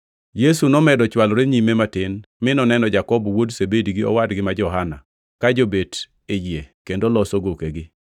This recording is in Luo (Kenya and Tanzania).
Yesu nomedo chwalore nyime matin mi noneno Jakobo wuod Zebedi gi owadgi ma Johana ka jobet e yie kendo loso gokegi.